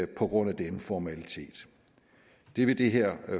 på grund af denne formalitet det vil det her